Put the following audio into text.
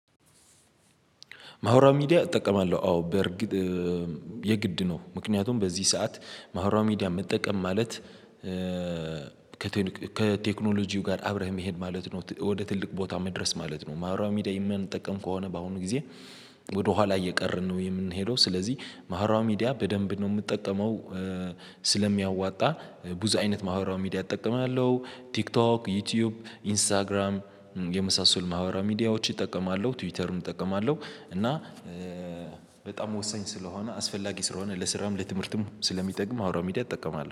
ማህበራዊ ሚዲያ እጠቀማለሁ። አዎ በርግጥ የግድ ነው። ምክንያቱም በዚህ ሰዓት ማህበራዊ መጠቀም ማለት ከቴክኖሎጂው ጋር አብረህ መሄድ ማለት ነው። ወደ ትልቅ ቦታ መድረስ ማለት ነው። ማህበራው ሚዲያ የማንጠቀም ከሆነ በአሁኑ ጊዜ ወደ ኋላ እየቀረን ነው የምንሄደው። ስለዚህ ማህበራዊ ሚዲያ በደንብ ነው የምጠቀመው። ስለሚያዋጣ ብዙ አይነት ማህበራዊ ሚዲያ እጠቀማለሁ ቲክቶክ ዩቲዩብ ኢንስታግራም የመሳሰሉ ማህበራዊ ሚዲያዎችን እጠቀማለሁ ትዊተርም እጠቀማለሁ። እና በጣም ወሳኝ ስለሆነ አስፈላጊ ስለሆነ ለስራም ለትምህርትም ስለሚጠቅም ማህበራዊ ሚዲያ እጠቀማለሁ